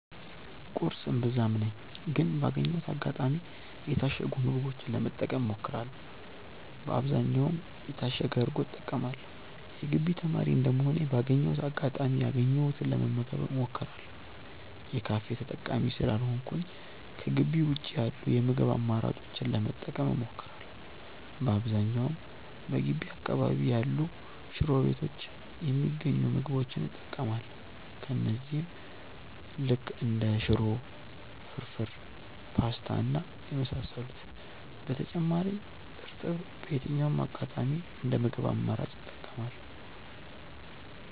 ቁርስ እምብዛም ነኝ ግን ባገኘሁት አጋጣሚ የታሸጉ ምግቦችን ለመጠቀም እሞክራለው በአብዛኛውም የታሸገ እርጎ እጠቀማለው። የግቢ ተማሪ እንደመሆኔ ባገኘሁት አጋጣሚ ያገኘሁትን ለመመገብ እሞክራለው። የካፌ ተጠቃሚ ስላልሆንኩኝ ከጊቢ ውጪ ያሉ የምግብ አማራጮችን ለመጠቀም እሞክራለው። በአብዛኛውም በገቢ አካባቢ ያሉ ሽሮ ቤቶች የሚገኙ ምግቦች እጠቀማለው እነዚህም ልክ እንደ ሽሮ፣ ፍርፉር፣ ፖስታ እና የመሳሰሉት። በተጨማሪም እርጥብ በየትኛውም አጋጣሚ እንደ ምግብ አማራጭ እጠቀማለው።